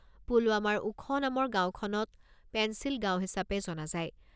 পুলৱামাৰ ওখ' নামৰ গাঁওখনক পেন্সিল গাঁও হিচাপে জনা যায়।